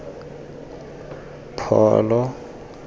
pholo